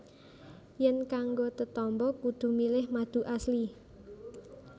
Yèn kanggo tetamba kudu milih madu Asli